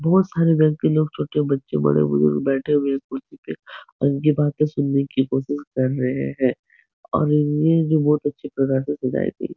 बहोत सारे लड़की लोग छोटे बच्चे बड़े बुजुर्ग बैठे हुए है कुर्सी पे और इनकी बाते सुनने की कोशिश कर रहे हैं। जो बहुत अच्छी प्रकार से सजायी थी।